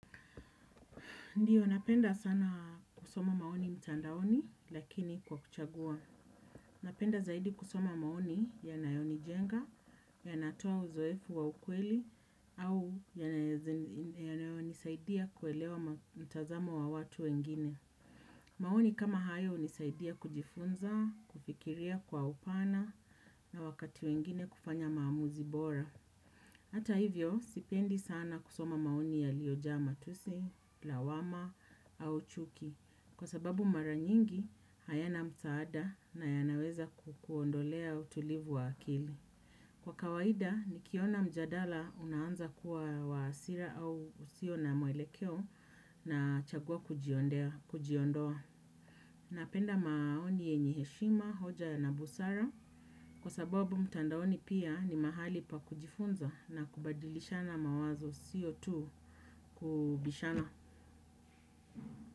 Ndiyo, napenda sana kusoma maoni mtandaoni, lakini kwa kuchagua. Napenda zaidi kusoma maoni yanayoni jenga, yanatoa uzoefu wa ukweli, au yanayoni saidia kuelewa mtazamo wa watu wengine. Maoni kama hayo hunisaidia kujifunza, kufikiria kwa upana, na wakati wengine kufanya maamuzi bora. Hata hivyo, sipendi sana kusoma maoni yaliyojaa matusi, lawama, au chuki, kwa sababu maranyingi hayana msaada na yanaweza kukuondolea utulivu wa akili. Kwa kawaida, nikiona mjadala unaanza kuwa wa hasira au usio na mwelekeo na chagua kujiondoa. Napenda maoni yenye heshima, hoja na busara kwa sababu mtandaoni pia ni mahali pa kujifunza na kubadilishana mawazo sio tu kubishana.